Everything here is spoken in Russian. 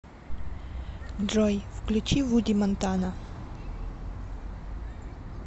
джой включи вуди монтана